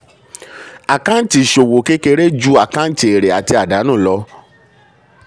àkáǹtì ìṣòwò kéré ju àkáǹtì èrè àti àdánù lọ.